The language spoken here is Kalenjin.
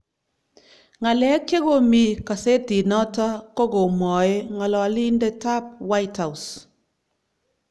Ng'alek che komi kasetinoto ko komwoei ng'ololindet ab White House